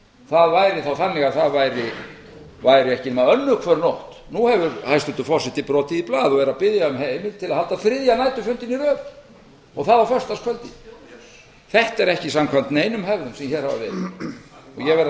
það væri þannig að það væri ekki nema önnur hver nótt nú hefur hæstvirtur forseti brotið í blað og er að biðja um heimild til að halda þriðja næturfundinn í röð og það á föstudagskvöldi þetta er ekki samkvæmt neinum hefðum sem hér hafa verið og ég verð að segja